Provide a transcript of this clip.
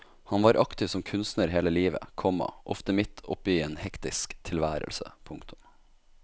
Han var aktiv som kunstner hele livet, komma ofte midt oppe i en hektisk tilværelse. punktum